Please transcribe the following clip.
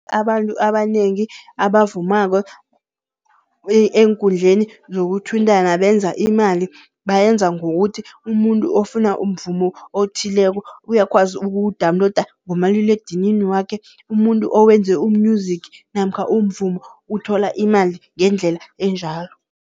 Abantu abanengi abavumako, eenkundleni zokuthintana benza imali. Bayenza ngokuthi, umuntu ofuna umvumo othileko, uyakwazi ukuwudawuniloda ngomaliledinini wakhe. Umuntu owenze u-music namkha umvumo, uthola imali ngendlela enjalo.